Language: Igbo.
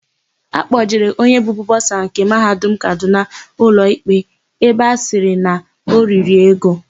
Akpọjere onye bụbu bọsa nke Mahadum Kadụna ụlọikpe ebe a sịrị na o riri ego.